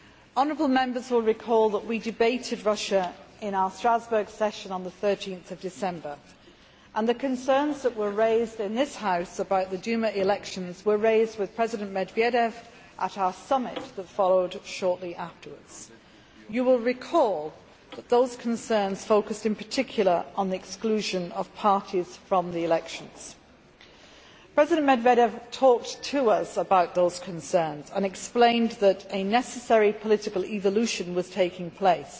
Honourable Members will recall that we debated Russia in our Strasbourg session on 13 December 2011, and the concerns that were raised in this House about the Duma elections were raised with President Medvedev at our summit that followed shortly afterwards. You will recall that those concerns focused in particular on the exclusion of parties from the elections. President Medvedev talked to us about those concerns and explained that a necessary political evolution was taking place.